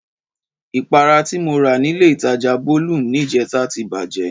Ìpara ti mo rà nílé ìtajà Bolum ní ìjẹta ti bàjẹ́